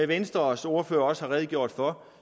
venstres ordfører også har redegjort for